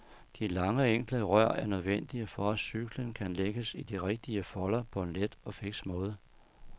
De lange og enkle rør er nødvendige for at cyklen kan lægges i de rigtige folder på en let og fiks måde.